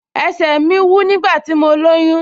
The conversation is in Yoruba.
Ẹsẹ̀ mi wú nígbà tí mo lóyún